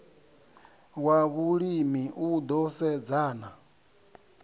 wa vhulimi u ḓo sedzana